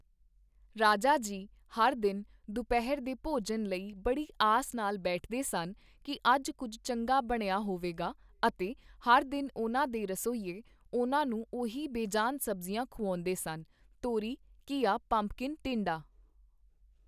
ਰਾਜਾ ਜੀ ਹਰ ਦਿਨ ਦੁਪਹਿਰ ਦੇ ਭੋਜਨ ਲਈ ਬੜੀ ਆਸ ਨਾਲ ਬੈਠਦੇ ਸਨ ਕੀ ਅੱਜ ਕੁੱਝ ਚੰਗਾ ਬਣਿਆ ਹੋਵੇਗਾ ਅਤੇ ਹਰ ਦਿਨ ਉਨ੍ਹਾਂ ਦੇ ਰਸੋਈਏ, ਉਨ੍ਹਾਂ ਨੂੰ ਉਹੀ ਬੇਜਾਨ ਸਬਜ਼ੀਆਂ ਖੁਆਉਂਦੇ ਸਨ ਤੋਰੀ, ਘੀਆ, ਪੰਪਕਿੰਨ, ਟਿੰਡਾ।